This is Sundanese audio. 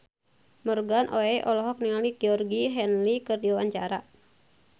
Morgan Oey olohok ningali Georgie Henley keur diwawancara